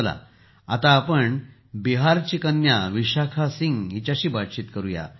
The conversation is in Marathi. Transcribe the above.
चला आपण बिहारची कन्या विशाखा सिंह हिच्याशी बातचीत करूया